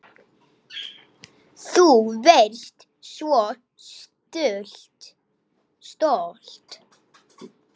Þú varst svo stolt.